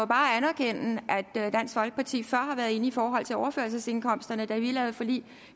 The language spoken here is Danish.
bare anerkende at dansk folkeparti før har været inde i forhold til overførselsindkomsterne da vi lavede forlig